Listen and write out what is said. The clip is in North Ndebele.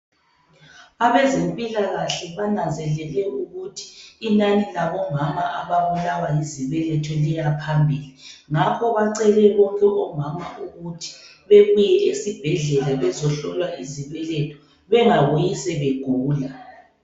Abezempilakahle bananzelele ukuthi inani labomama ababulawa yizibeletho liyaphambili ngakho bacele bonke omama ukuthi bebuye esibhedlela bezohlolwa izibeletho bengabuyi sebegula.